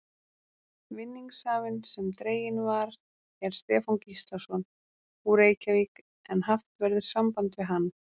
Vinningshafinn sem dreginn var er Stefán Gíslason, úr Reykjavík en haft verður samband við hann.